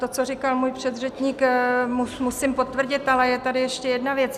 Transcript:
To, co říkal můj předřečník, musím potvrdit, ale je tady ještě jedna věc.